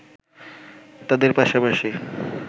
তাদের পাশাপাশি